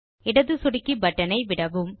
இடது சொடுக்கி பட்டனை விடவும்